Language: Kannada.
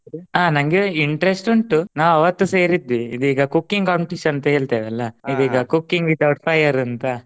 ಹಾ ನಂಗೆ interest ಉಂಟು ನಾ ಅವತ್ತೇ ಸೇರಿದ್ದೆ ಇದು ಈಗಾ cooking competition ಅಂತ ಹೇಳ್ತೇವಲ್ಲ ಅದು ಈಗ cooking without fire ಅಂತಾ